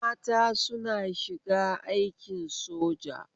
Mata suna shiga aikin soja